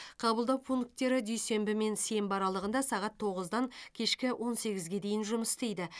қабылдау пункттері дүйсенбі мен сенбі аралығында сағат тоғыздан кешкі он сегізге дейін жұмыс істейді